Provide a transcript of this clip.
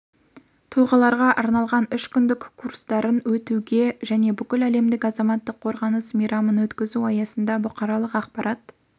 тұлғаларға арналған үш күндік курстарын өтуге және бүкіләлемдік азаматтық қорғаныс мейрамын өткізу аясында бұқаралық ақпарат